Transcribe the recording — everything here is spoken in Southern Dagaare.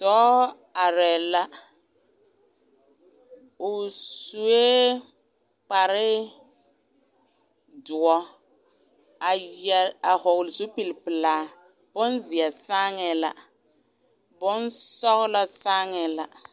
Dɔɔ are la, o sue kpar doɔre a vɔgeli zupile pɛlaa bonzeɛ saaŋɛ la bonsɔglɔ saaŋɛ la.